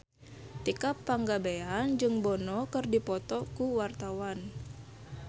Tika Pangabean jeung Bono keur dipoto ku wartawan